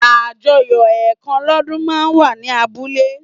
Àjọyọ̀ ẹ̀kan lọ́dún máa ń wà ní abúlé